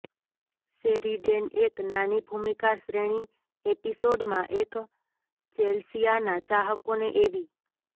Sheridan એક નાની ભૂમિકા શ્રેણી એપિસોડમાં એક ચેલ્સિયાના ચાહકોને એવી